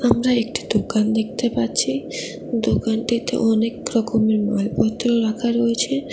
আমরা একটি দোকান দেখতে পাচ্ছি দোকানটিতে অনেক রকমের মালপত্র রাখা রয়েছে।